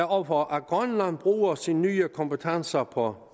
over for at grønland bruger sine nye kompetencer på